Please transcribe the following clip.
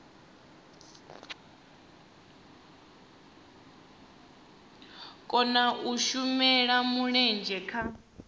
kona u shela mulenzhe kha